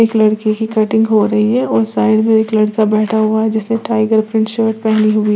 लड़के की कटिंग हो रही है और साइड में एक लड़का बैठा हुआ है जिसने टाइगर प्रिंट शर्ट पहनी हुई--